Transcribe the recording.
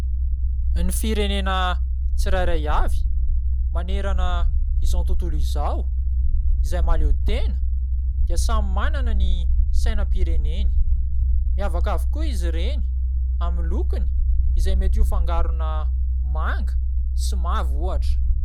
Ny firenena tsirairay avy manerana izao tontolo izay mahaleo tena dia samy manana ny sainam-pireneny. Miavaka avokoa izy ireny amin'ny lokony izay mety ho fangarona manga sy mavo ohatra.